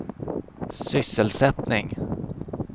sysselsättning